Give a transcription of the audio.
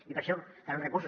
i per a això calen recursos